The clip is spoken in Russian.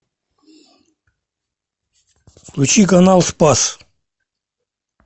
включи канал спас